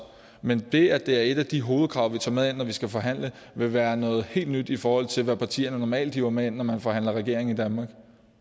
men det at det er et af de hovedkrav vi tager med ind når vi skal forhandle vil være noget helt nyt i forhold til hvad partierne normalt hiver med ind når man forhandler regering i danmark